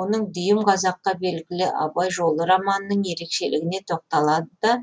оның дүйім қазаққа белгілі абай жолы романының ерекшелігіне тоқталады да